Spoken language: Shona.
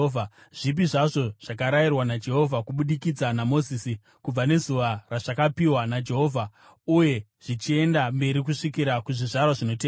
zvipi zvazvo zvakarayirwa naJehovha kubudikidza naMozisi, kubva nezuva razvakapiwa naJehovha uye zvichienda mberi kusvikira kuzvizvarwa zvinotevera,